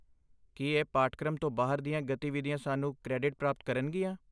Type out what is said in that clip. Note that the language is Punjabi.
ਕੀ ਇਹ ਪਾਠਕ੍ਰਮ ਤੋਂ ਬਾਹਰ ਦੀਆਂ ਗਤੀਵਿਧੀਆਂ ਸਾਨੂੰ ਕ੍ਰੈਡਿਟ ਪ੍ਰਾਪਤ ਕਰਨਗੀਆਂ?